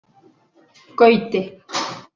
Gauti